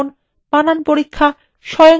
স্বয়ংক্রিয়ভাবে সংশোধন